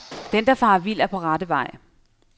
Den der farer vild er på rette vej.